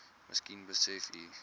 miskien besef u